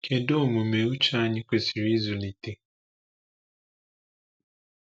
Kedu omume uche anyị kwesịrị ịzụlite?